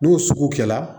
N'o sugu kɛra